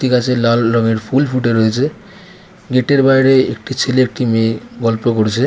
একটি গাছে লাল রঙের ফুল ফুটে রয়েছে। গেট -এর বাইরে একটি ছেলে একটি মেয়ে গল্প করছে।